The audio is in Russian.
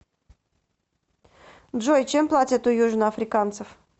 джой чем платят у южноафриканцев